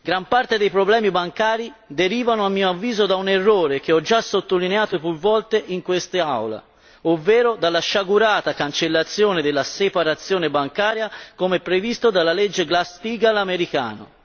Gran parte dei problemi bancari derivano a mio avviso da un errore che ho già sottolineato più volte in quest'Aula, ovvero dalla sciagurata cancellazione della separazione bancaria come previsto dalla legge Glass Steagall americana.